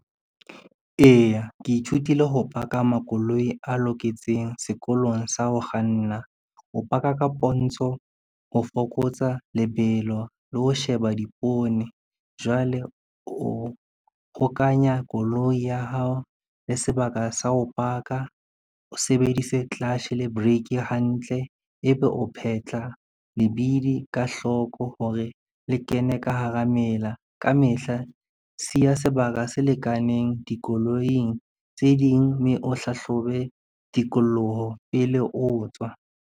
Eya ke ithutile ho paka makoloi a loketseng sekolong sa ho kganna, o paka ka pontsho, ho fokotsa lebelo le ho sheba dipoone. Jwale o hokanya koloi ya hao le sebaka sa ho paka, o sebedise clash le break hantle, ebe o phetlha lebidi ka hloko hore le kene ka hara mela. Ka mehla siya sebaka se lekaneng dikoloing tse ding, mme o hlahlobe tikoloho pele o tswa.